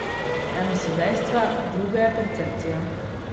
Eno so dejstva, drugo je percepcija.